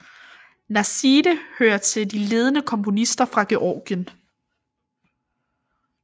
Nasidze hører til de ledende komponister fra Georgien